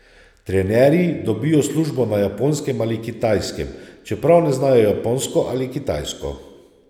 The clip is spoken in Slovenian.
Trenerji dobijo službo na Japonskem ali Kitajskem, čeprav ne znajo japonsko ali kitajsko.